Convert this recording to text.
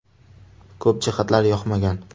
Ko‘p jihatlari yoqmagan.